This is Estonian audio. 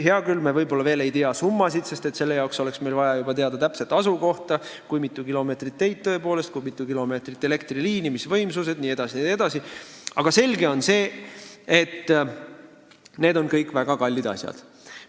Hea küll, me võib-olla veel ei tea summasid, sest selleks oleks vaja teada juba täpset asukohta, oleks vaja teada tõepoolest, kui mitu kilomeetrit teid, kui mitu kilomeetrit elektriliini, missuguseid võimsusi jne on vaja, aga selge on see, et need on kõik väga kallid asjad.